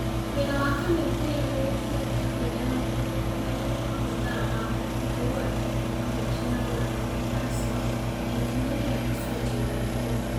Wĩra wa kamĩtĩ ĩyo nĩ wĩkĩrĩtwo hinya nĩ kũmenyithanio kwa mathaa ma kũhingwo gwa tekinoronjĩ ya analogue (ASO) na ikinya rĩa icunjĩ ithatũ: